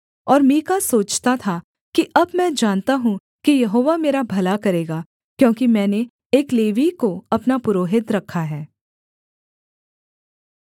और मीका सोचता था कि अब मैं जानता हूँ कि यहोवा मेरा भला करेगा क्योंकि मैंने एक लेवीय को अपना पुरोहित रखा है